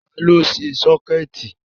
Ta ló ṣe sọ́kẹ̀tì?